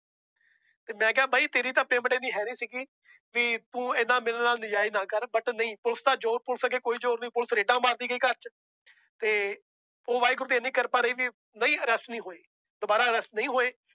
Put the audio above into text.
ਤੇ ਮੈਂ ਕਿਹਾ ਬਾਈ ਤੇਰੀ ਤਾਂ payment ਇੰਨੀ ਹੈਨੀ ਸੀਗੀ ਵੀ ਤੂੰ ਇੰਨਾ ਮੇਰੇ ਨਾਲ ਨਜ਼ਾਇਜ਼ ਨਾ ਕਰ but ਨਹੀਂ ਪੁਲਿਸ ਦਾ ਜ਼ੋਰ, ਪੁਲਿਸ ਅੱਗੇ ਕੋਈ ਜ਼ੋਰ ਨੀ ਪੁਲਿਸ ਰੇਡਾਂ ਮਾਰਦੀ ਗਈ ਘਰ ਚ ਤੇ ਉਹ ਵਾਹਿਗੁਰੂ ਨੇ ਇੰਨੀ ਕਿਰਪਾ ਰਹੀ ਵੀ ਨਹੀਂ arrest ਨੀ ਹੋਏ ਦੁਬਾਰਾ arrest ਨਹੀਂ ਹੋਏ।